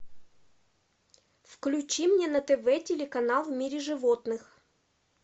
включи мне на тв телеканал в мире животных